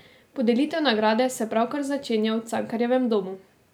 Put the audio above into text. Podelitev nagrade se pravkar začenja v Cankarjevem domu.